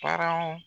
Paranw